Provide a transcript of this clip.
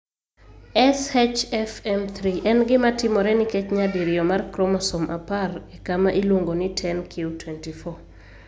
SHFM3 en gima timore nikech nyadiriyo mar chromosome 10 e kama iluongo ni 10q24.